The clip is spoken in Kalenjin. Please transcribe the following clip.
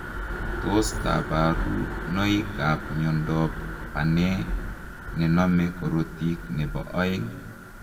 Tos kabarunoik ap miondoop Banee nenomee korotik nepoo oeng?